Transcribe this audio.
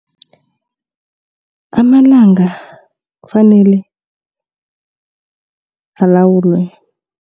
Amalanga kufanele alawulwe.